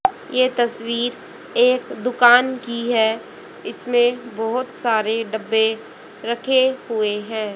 ये तस्वीर एक दुकान की है इसमें बहोत सारे डब्बे रखे हुए हैं।